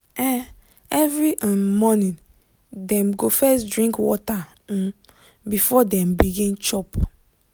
um every um morning dem go first drink water um before dem begin chop.